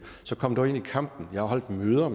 så kom dog ind i kampen jeg har holdt møder